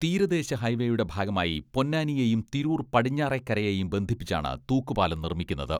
തീരദേശ ഹൈവേയുടെ ഭാഗമായി പൊന്നാനിയെയും തിരൂർ പടിഞ്ഞാറെക്കരയെയും ബന്ധിപ്പിച്ചാണ് തൂക്കുപാലം നിർമ്മിക്കുന്നത്.